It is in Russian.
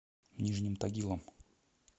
нижним тагилом